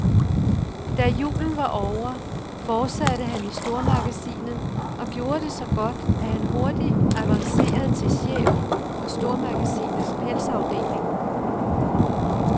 Da julen var ovre, fortsatte han i stormagasinet og gjorde det så godt, at han hurtigt avancerede til chef for stormagasinets pelsafdeling.